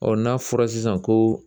Ɔn n'a fɔra sisan ko